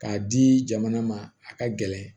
K'a di jamana ma a ka gɛlɛn